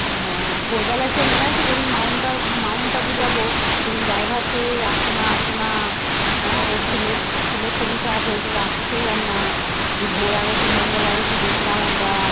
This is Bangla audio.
আরতি মঙ্গল আরতি দেখলাম আমরা